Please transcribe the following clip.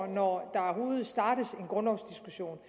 når der overhovedet startes en grundlovsdiskussion